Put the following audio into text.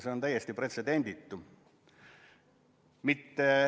See on ju täiesti pretsedenditu.